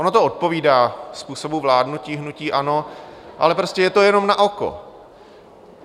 Ono to odpovídá způsobu vládnutí hnutí ANO, ale prostě je to jenom na oko.